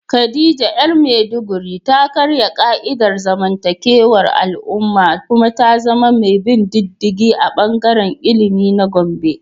Khadija ‘yar Maiduguri ta karya ka’idar zamantakewar al’umma kuma ta zama mai bin diddigi a bangaren ilimi na Gombe.